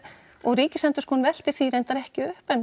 og Ríkisendurskoðun veltir því reyndar ekki upp en